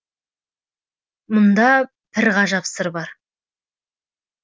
мұнда бір ғажап сыр бар